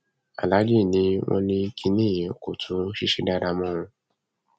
aláàjì ni wọn ní kínní ẹ kó tún ṣiṣẹ dáadáa mọ